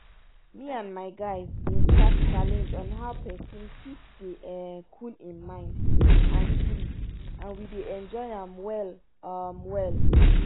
me and my guys bin start challenge on how pesin fit dey cool hin mind and spirit and we dey enjoy am well um well.